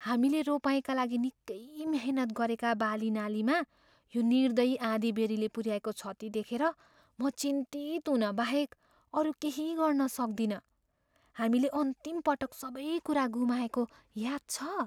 हामीले रोपाइँका लागि निकै मिहिनेत गरेका बालीनालीमा यो निर्दयी आँधीबेहरीले पुऱ्याएको क्षति देखेर म चिन्तित हुन बाहेक अरू केही गर्न सक्दिनँ। हामीले अन्तिम पटक सबै कुरा गुमाएको याद छ?